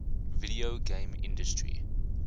video game industry